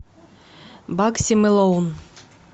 багси мэлоун